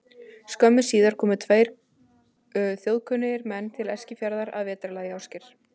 Skömmu síðar komu tveir þjóðkunnir menn til Eskifjarðar að vetrarlagi, Ásgeir